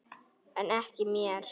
En ekki mér.